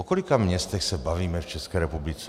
O kolika městech se bavíme v České republice?